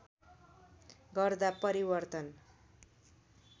गर्दा परिवर्तन